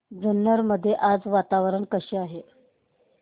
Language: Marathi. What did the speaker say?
जुन्नर मध्ये आज वातावरण कसे आहे